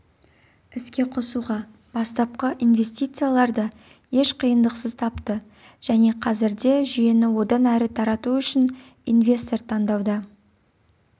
іске қосуға бастапқы инвестицияларды еш қиындықсыз тапты және қазірде жүйені одан әрі тарату үшін инвестор таңдауда